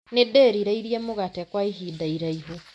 Nĩndĩrĩirie mũgate kwa ihinda iraihu